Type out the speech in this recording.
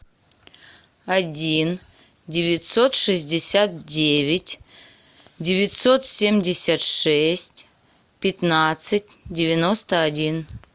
один девятьсот шестьдесят девять девятьсот семьдесят шесть пятнадцать девяносто один